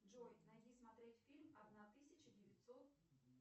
джой найди смотреть фильм одна тысяча девятьсот